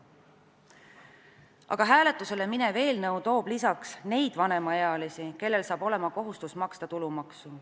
Aga hääletusele minev eelnõu toob lisaks neid vanemaealisi, kellel hakkab olema kohustus maksta tulumaksu.